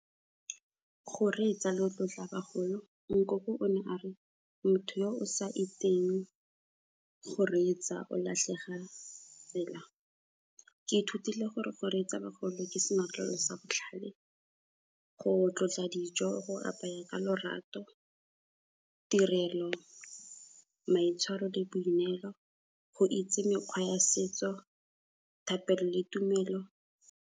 Go reetsa le go tlotla bagolo. Nkoko o ne a re motho yo o sa itseng go reetsa, o latlhega tsela. Ke ithutile gore go reetsa bagolo ke senotlolo sa botlhale, go tlotla dijo, go apaya ka lorato, tirelo, maitshwaro le boineelo, go itse mekgwa ya setso, thapelo le tumelo.